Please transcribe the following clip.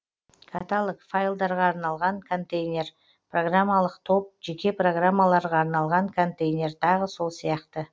каталог файлдарға арналған контейнер программалық топ жеке программаларға арналған контейнер тағы сол сияқты